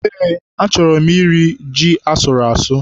Eé, achọrọ m iri ji asụrụ asụ.